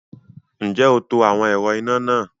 Ǹjẹ́ o to àwọn ẹ̀rọ iná náà?